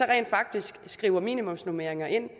rent faktisk at skrive minimumsnormeringer ind